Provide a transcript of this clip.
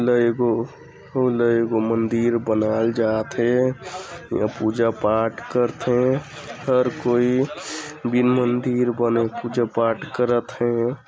एगो फूल ल एगो मंदिर बनाए ल जाथे अऊ पूजा पाठ करथे कोई बिन मंदिर बनाथ पूजा-पाठ करत हे।